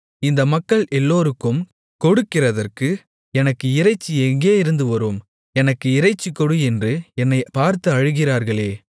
இந்த மக்கள் எல்லாருக்கும் கொடுக்கிறதற்கு எனக்கு இறைச்சி எங்கேயிருந்து வரும் எனக்கு இறைச்சி கொடு என்று என்னைப் பார்த்து அழுகிறார்களே